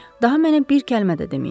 Daha mənə bir kəlmə də deməyin, qrafinya.